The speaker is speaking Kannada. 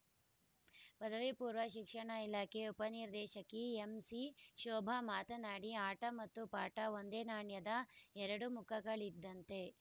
ಪದವಿಪೂರ್ವ ಶಿಕ್ಷಣ ಇಲಾಖೆ ಉಪನಿರ್ದೇಶಕಿ ಎಂಸಿಶೋಭಾ ಮಾತನಾಡಿ ಆಟ ಮತ್ತು ಪಾಠ ಒಂದೇ ನಾಣ್ಯದ ಎರಡು ಮುಖಗಳಿದ್ದಂತೆ